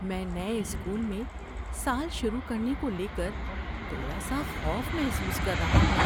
میں نئے اسکول میں سال شروع کرنے کو لے کر تھوڑا سا خوف محسوس کر رہا ہوں۔